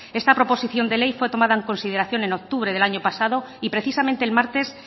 esta proposición de ley fue tomada en consideración en octubre del año pasado y precisamente el martes